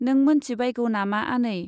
नों मोनथिबायगौ नामा आनै ?